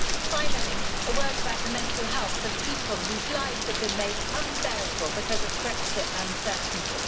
Finally, a word about the mental health of people whose lives have been made unbearable because of Brexit uncertainty.